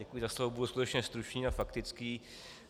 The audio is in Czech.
Děkuji za slovo, budu skutečně stručný a faktický.